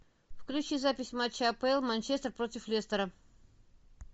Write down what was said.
включи запись матча апл манчестер против лестера